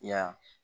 I y'a